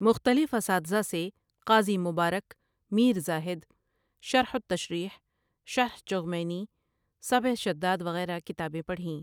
مختلف اساتذہ سے قاضی مبارک، میر زاہد، شرح التشریح، شرح چغمینی، سبع شداد وغیرہ کتابیں پڑھیں ۔